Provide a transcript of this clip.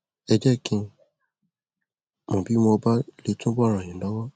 ẹ jẹ kí n mọ bí mo bá lè túbọ ràn yín lọwọ